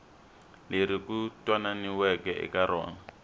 leri ku twananiweke eka rona